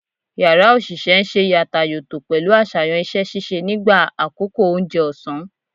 Yara osise n se yàtàyòtò pẹlu aṣayan iṣẹ-ṣiṣe nigba akoko ounje òsán